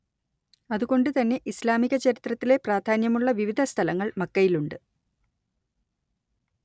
അത് കൊണ്ട് തന്നെ ഇസ്‌ലാമിക ചരിത്രത്തിലെ പ്രാധാന്യമുള്ള വിവിധ സ്ഥലങ്ങൾ മക്കയിലുണ്ട്